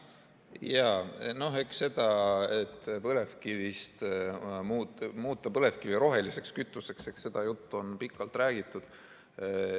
Jaa, noh eks seda juttu, et muuta põlevkivi roheliseks kütuseks, on pikalt räägitud.